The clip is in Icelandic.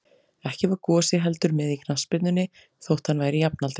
Ekki var Gosi heldur með í knattspyrnunni, þótt hann væri jafnaldri